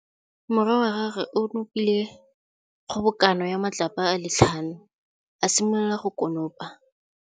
Morwa wa gagwe o nopile kgobokanô ya matlapa a le tlhano, a simolola go konopa.